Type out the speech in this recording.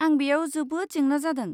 आं बेयाव जोबोद जेंना जादों।